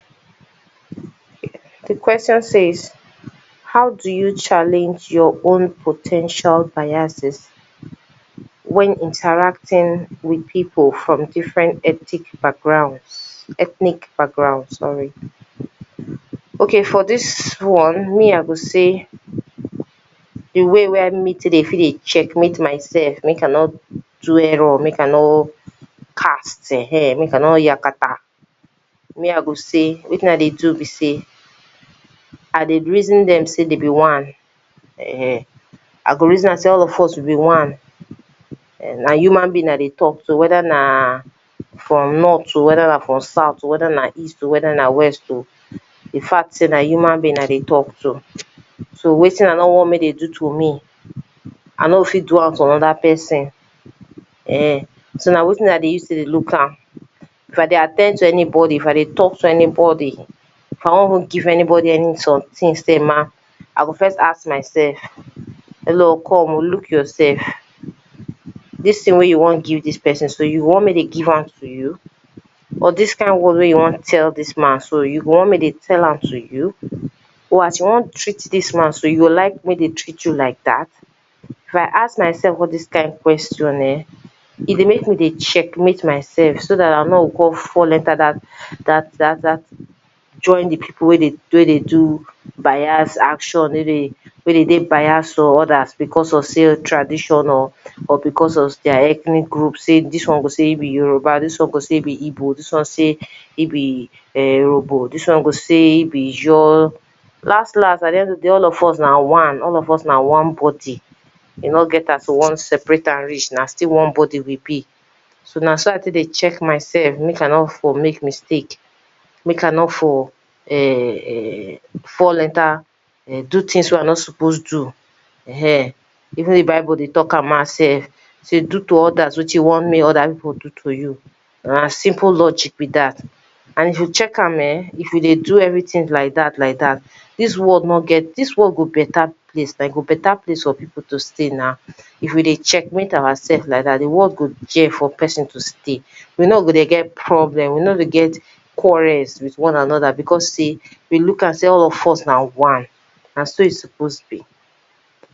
Di question says, how do you challenge your own po ten tial biases? When interacting with people form different ethic backgrounds ethnic background sorry okay for dis one me I go say di way were me take dey fit dey check meet myself make I no do error make I no cast ehen make I no yakata me I go say wetin I dey do be say I dey reason dem say dey be one ehen I go reason am say all of us we be one[um]na human begin I dey talk to whether na from north oh, whether na south oh whether na east oh whether na west oh di fact say na human begin I dey talk to so wetin I no want make dey do to me I no go fit do am to another person (urn) so na wetin I take dey use dey look am if I dey at ten d to anybody if I dey talk to anybody if I wan go anybody any something say ma I go first ask myself hello come oh look yourself dis thing way you wan go give dis person so you want make dey give am to you or dis kind word way you wan tell dis man so you want make dey tell am to you or as you wan treat dis man so you go like make dey treat you like dat if I ask my self all dis kind question [urn] e dey make me to check mate myself so dat I no go come fall enter dat dat dat join di people way de y do biase s action way dey dey biasas to others because of say tradition or or because of their ethnic group dis one go say e be Yoruba dis on go say e be Igbo dis one say e be urhobo dis one go say e be I jaw last last my dear all of us na one all of us na one body e no get as we wan separate am reach na sill one body we be so na so I take dey check myself make I no r for make mistake make I nor for [urn] fall enter [urn] do things way I no r for do ehen even de bible dey talk am out self say do to others you want make other people do to you na simple logic be dat and if you check am [urn] if you dey do everything like dat like dat dis world no get dis world go better place e go better place for people to stay na if we dey check mate ourselves like dat di world go there for person to stay we no go dey get problems we no go get quarrels because say we look am say all o f us na one na so e suppose be.